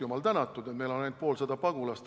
Jumal tänatud, et meil on ainult poolsada pagulast!